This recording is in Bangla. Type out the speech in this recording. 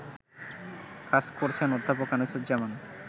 কাজ করছেন অধ্যাপক আনিসুজ্জামান